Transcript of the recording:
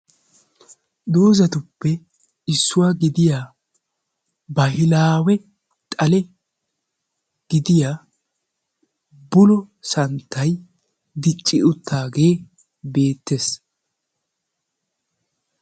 Doozatuppe issuwa gidiya bahilaawe xale gidiya bullo santtay dicci uttaagee bettees.